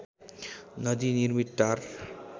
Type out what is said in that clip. नदी निर्मित टार